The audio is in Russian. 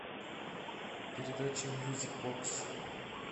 передача мьюзик бокс